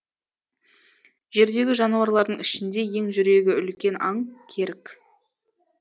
жердегі жануарлардың ішінде ең жүрегі үлкен аң керік